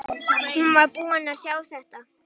Hún var búin að sjá þetta!